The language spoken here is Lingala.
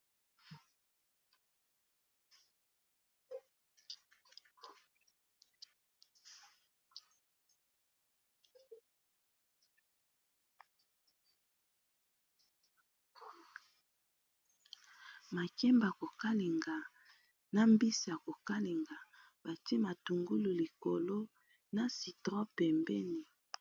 Makemba kokalinga, na mbisi yako kalinga, batie matungulu likolo na citron pembeni.